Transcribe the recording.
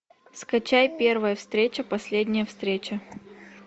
скачай первая встреча последняя встреча